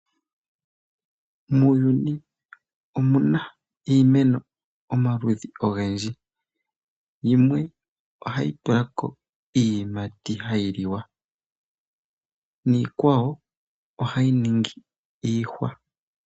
Muuyuni omu na iimeno omaludhi ogendji. Yimwe ohayi tula ko iiyimati hayi liwa. Niikwa wo ohayi ningi iihwa.